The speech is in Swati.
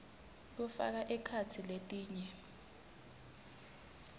kufaka ekhatsi letinye